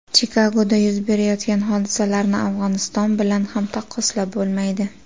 Chikagoda yuz berayotgan hodisalarni Afg‘oniston bilan ham taqqoslab bo‘lmaydi.